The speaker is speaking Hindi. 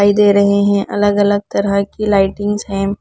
दिखाई दे रहे हैं अलग अलग तरह की लाइटिंग्स हैं।